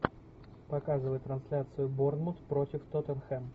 показывай трансляцию борнмут против тоттенхэм